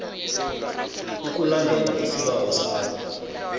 ukulandela isibawo sakho